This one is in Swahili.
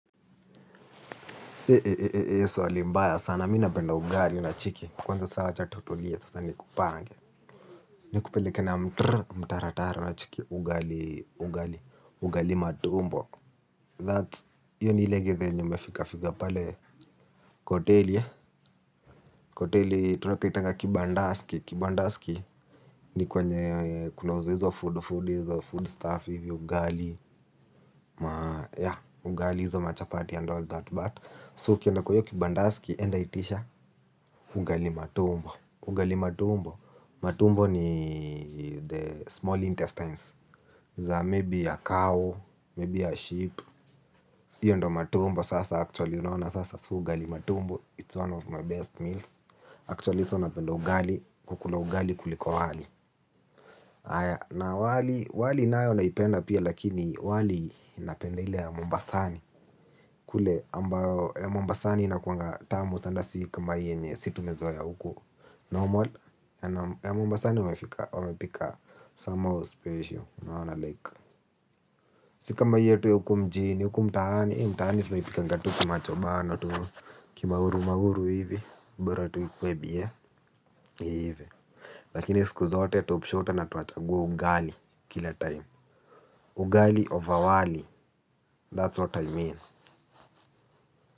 Mbaya sana, mi napenda ugali na cheki. Kwanza sawa wacha tutulie nikupange nikupeleke na mtrr mtaratara nacheki, ugali, ugali matumbo. That's, hiyo ni ile gethe yenye imefika fika pale kwa hoteli. Kwa hoteli, tunapaitanga kibandaski. Kibandaski, ni kwenye kunauzwa hizo food, food, hizo food stuff, ugali, ya, ugali hizo machapati and all that. So ukienda kwa hiyo kibandasiki enda itisha. Ugali matumbo. Ugali matumbo. Matumbo ni the small intestines za Maybe a cow Maybe a sheep hiyo ndo matumbo sasa actually. Ugalimatumbo It's one of my best meals Actually so napenda ugali. Kukula ugali kuliko wali. Na wali wali nayo naipenda pia. Lakini wali napenda ile ya Mombasani. Kule ambayo ya Mombasani inakuanga tamu sana si kama hii yenye si tumezoea huku normal ya Mombasani wamepika wamepika some more special unaona like si kama hii yetu ya huku mjini huku mtaani mtaani tunaipikanga tu kimacho bano kimauru mauru hivi bora tu ikuwe bie lakini siku zote topshota na tunachagua ugali kila time ugali over wali that's what I mean.